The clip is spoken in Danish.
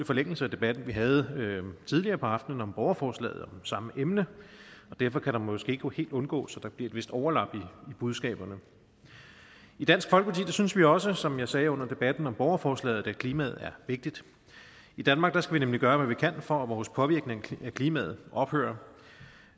forlængelse af debatten vi havde tidligere på aftenen om borgerforslaget om samme emne og derfor kan det måske ikke helt undgås at der bliver et vist overlap i budskaberne i dansk folkeparti synes vi også som jeg sagde under debatten om borgerforslaget at klimaet er vigtigt i danmark skal vi nemlig gøre hvad vi kan for at vores påvirkning af klimaet ophører